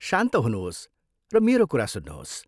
शान्त हुनुहोस् र मेरो कुरा सुन्नुहोस्।